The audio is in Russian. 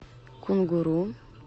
кунгуру